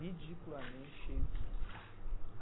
Ridiculamente cheio de sonhos.